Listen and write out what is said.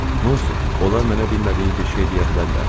Nə olsun, onlar mənə bilmədiyim bir şey deyə bilərlər?